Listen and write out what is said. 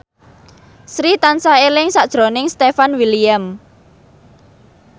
Sri tansah eling sakjroning Stefan William